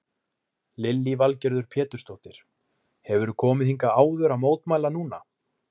Lillý Valgerður Pétursdóttir: Hefurðu komið hingað áður að mótmæla núna?